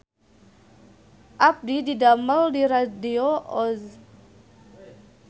Abdi didamel di Radio Oz